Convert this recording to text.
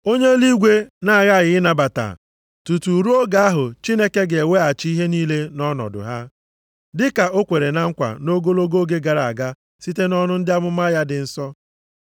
Onye eluigwe na-aghaghị ịnabata tutu ruo oge ahụ Chineke ga-eweghachi ihe niile nʼọnọdụ ha, dịka o kwere na nkwa nʼogologo oge gara aga site nʼọnụ ndị amụma ya dị nsọ.